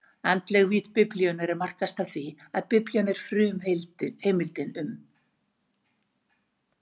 Andleg vídd Biblíunnar markast af því, að Biblían er frumheimildin um